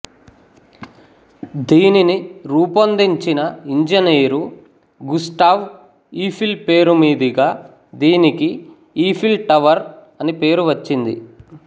దీనిని రూపొందించిన engineer Gustave Eiffel పేరు మీదుగా దీనికి ఈఫిల్ టవర్ అని పేరు వచ్చింది